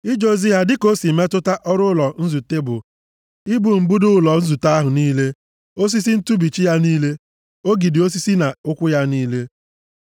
Ije ozi ha dịka o si metụta ọrụ ụlọ nzute bụ ibu mbudo ụlọ nzute ahụ niile, osisi ntụbichi ya niile, ogidi osisi na ụkwụ ya niile;